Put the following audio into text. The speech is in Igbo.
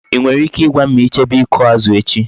I nwere ike I gwam ma I jebe iku azu echi?